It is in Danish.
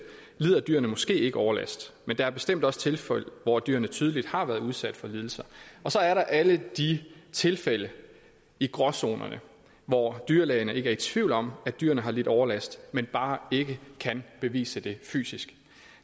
lider dyrene måske ikke overlast men der er bestemt også tilfælde hvor dyrene tydeligt har været udsat for lidelser så er der alle de tilfælde i gråzonen hvor dyrlægerne ikke er i tvivl om at dyrene har lidt overlast men bare ikke kan bevise det fysisk